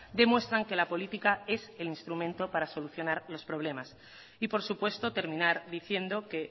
demuestran que la política es el instrumento para solucionar los problemas y por supuesto terminar diciendo que